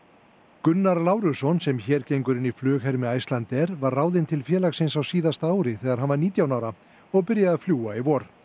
Gunnar sem hér gengur inn í flughermi Icelandair var ráðinn til félagsins á síðasta ári þegar hann var nítján ára og byrjaði að fljúga í vor